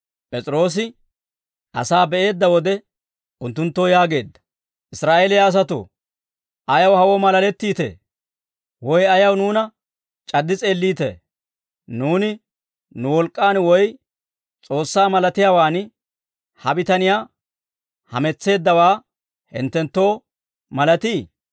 P'es'iroosi asaa be'eedda wode unttunttoo yaageedda; «Israa'eeliyaa asatoo, ayaw hawoo maalalettiitee? Woy ayaw nuuna c'addi s'eelliitee? Nuuni nu wolk'k'aan woy S'oossaa malatiyaawaan ha bitaniyaa hametseeddawaa hinttenttoo malatii?